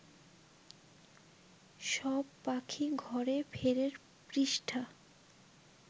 সব পাখি ঘরে ফেরের পৃষ্ঠা